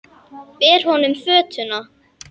Ber honum fötuna.